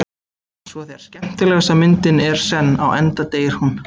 Og svo þegar skemmtilegasta myndin er senn á enda deyr hún.